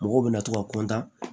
Mɔgɔw bɛna to ka kɔntan